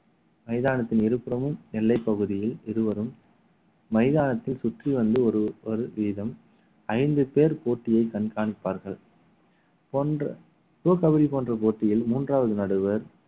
மைதானத்தின் இருபுறமும் எல்லைப் பகுதியில் இருவரும் மைதானத்தில் சுற்றி வந்து ஒரு ஒரு வீதம் ஐந்து பேர் போட்டியை கண்காணிப்பார்கள் கொன்று pro கபடி போன்ற போட்டியில் மூன்றாவது நடுவர்